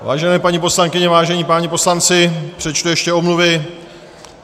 Vážené paní poslankyně, vážení páni poslanci, přečtu ještě omluvy.